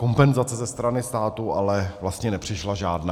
Kompenzace ze strany státu ale vlastně nepřišla žádná.